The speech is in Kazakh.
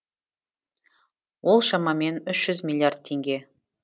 ол шамамен үш жүз миллиард теңге